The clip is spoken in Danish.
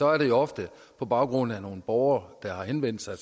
er det jo ofte på baggrund af nogle borgere der har henvendt sig og